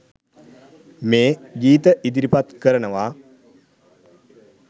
මේ ගීත ඉදිරිපත් කරනවා